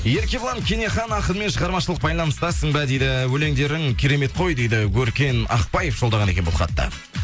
еркебұлан кенехан ақынмен шығармашылық байланыстасың ба дейді өлеңдерің керемет қой дейді өркен ақбаев жолдаған екен бұл хатты